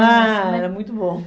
Ah, era muito bom.